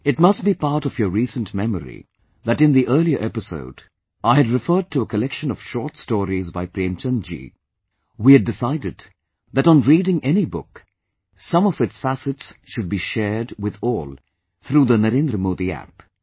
It must be part of your recent memory that in the earlier episode, I had referred to a collection of short stories by Premchand ji, We had decided that on reading any book, some of its facets should be shared with all through the Narendra Modi App